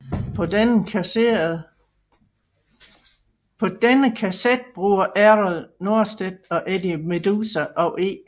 På denne kasset bruger Errol Norstedt både Eddie Meduza og E